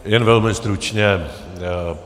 Jen velmi stručně.